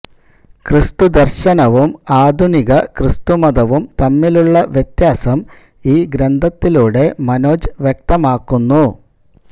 ക്രിസ്തു ദര്ശനവും ആധുനിക ക്രിസ്തുമതവും തമ്മിലുള്ള വ്യത്യാസം ഈ ഗ്രന്ഥത്തിലൂടെ മനോജ് വ്യക്തമാക്കുന്നു